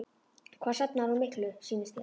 Hvað safnar hún miklu, sýnist þér?